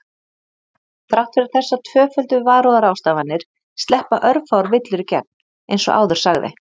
Þrátt fyrir þessar tvöföldu varúðarráðstafanir sleppa örfáar villur í gegn eins og áður sagði.